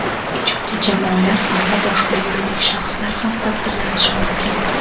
ijodiy jamoalar hamda boshqa yuridik shaxslar ham taqdirlanishi mumkin.